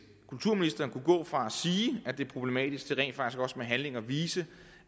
kulturministeren kunne gå fra at sige at det er problematisk til rent faktisk også med handling at vise